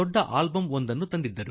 ಅವರು ಒಂದು ದೊಡ್ಡ ಆಲ್ಬಮ್ ತಂದಿದ್ದರು